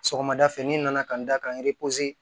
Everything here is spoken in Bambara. Sɔgɔmada fɛ ni nana ka n da ka n